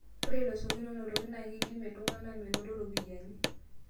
Ore losekin oonotoki na kedimie iltung'ana menoto ropiyani